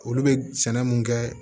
Olu bɛ sɛnɛ mun kɛ